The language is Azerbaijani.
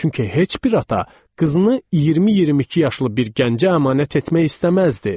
Çünki heç bir ata qızını 20-22 yaşlı bir gəncə əmanət etmək istəməzdi.